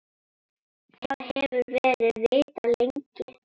Það hefur verið vitað lengi.